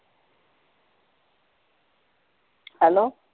Hello